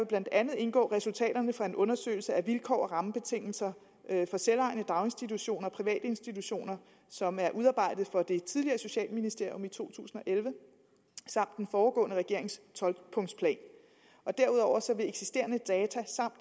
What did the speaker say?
blandt andet indgå resultaterne fra en undersøgelse af vilkår og rammebetingelser for selvejende daginstitutioner og private institutioner som er udarbejdet for det tidligere socialministerium i to tusind og elleve samt den foregående regerings tolv punkts plan derudover vil eksisterende data samt